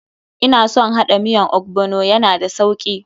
Ina son haɗa miyan ogbono, ya na da sauki.